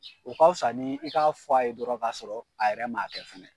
U ka fisa ni i k'a fɔ a ye dɔrɔn ka sɔrɔ a yɛrɛ man kɛ fana.